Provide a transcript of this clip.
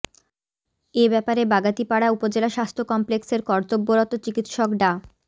এ ব্যাপারে বাগাতিপাড়া উপজেলা স্বাস্থ্য কমপ্লেক্সের কর্তব্যরত চিকিৎসক ডা